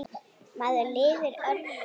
Maður lifir öðrum.